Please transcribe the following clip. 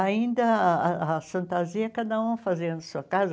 Ainda ah a fantasia cada um fazia na sua casa.